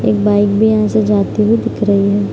एक बाइक भी यहाँ से जाते हुए दिख रही है।